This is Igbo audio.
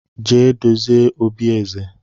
Jee dozie obi eze!